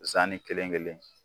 Zani kelen kelen.